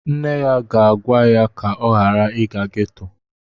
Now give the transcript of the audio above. Nne ya ga-agwa ya ka ọ ghara ịga ghetto